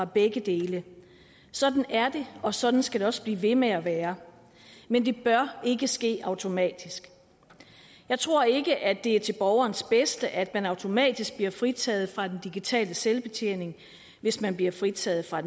begge dele sådan er det og sådan skal det også blive ved med at være men det bør ikke ske automatisk jeg tror ikke at det er til borgerens bedste at man automatisk bliver fritaget for den digitale selvbetjening hvis man bliver fritaget for